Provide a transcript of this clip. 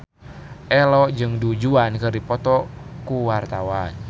Ello jeung Du Juan keur dipoto ku wartawan